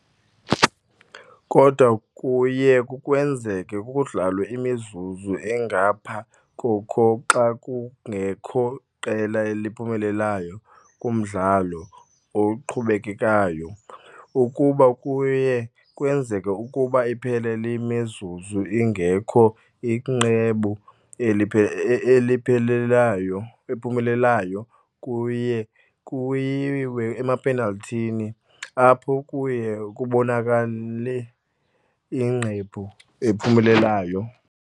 Kodwa kuye kwenzeke kudlalwe imizuzu engapha koko xa kungekho qela liphumelelayo kumdlalo oqhubekekayo. Ukuba kuye kwenzeka ukuba iphele le mizuzu ingekho iqembu eliphelelayo eliphumelelayo kuye kuyiwe emapenal'thini, apho kuye kubonakale iqembu ephumelelayo.